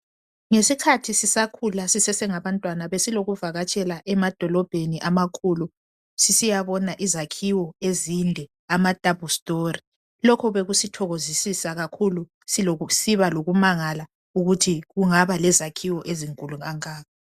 Ngesikhathi sisakhula sisasengabantwana besilokuvakatshela emadolobheni amakhulu sisiyabona izakhiwo ezinde amadouble story lokhu bekusithokozosisa kakhulu sibalokumangala ukuthi kungabalezakhiwo ezinkulu kangaka